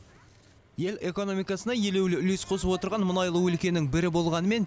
ел экономикасына елеулі үлес қосып отырған мұнайлы өлкенің бірі болғанымен